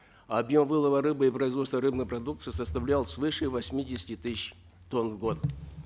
объем вылова рыбы и производства рыбной продукции составлял свыше восьмидесяти тысяч тонн в год